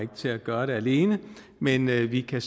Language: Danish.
til at gøre det alene men vi kan